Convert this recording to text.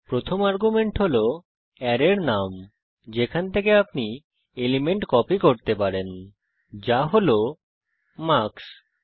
প্রথম আর্গুমেন্ট হল অ্যারের নাম যেখান থেকে আপনি এলিমেন্ট কপি করতে চান যা হল মার্কস